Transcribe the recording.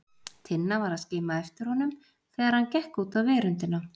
Tinna var að skima eftir honum þegar hann gekk út á veröndina.